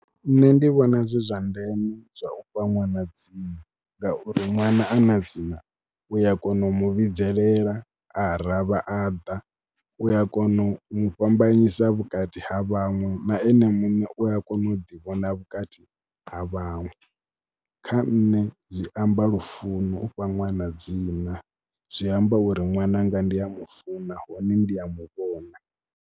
Nṋe ndi vhona zwi zwa ndeme zwa u fha ṅwana dzina ngauri ṅwana a na dzina u ya kona u mu vhidzelela a ravha a ḓa, u ya kona u mu fhambanyisa vhukati ha vhaṅwe. Na ene muṋe u a kona u ḓivhona vhukati ha vhaṅwe. Kha nṋe zwi amba lufuno, u fha ṅwana dzina zwi amba uri ṅwananga ndi a mu funa hone ndi a mu vhona.